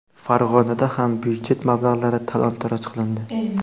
Farg‘onada ham byudjet mablag‘lari talon-toroj qilindi.